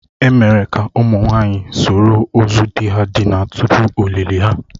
E mere ka ụmụ nwanyị soro ozu di ha dinara tupu ọlịlị ha.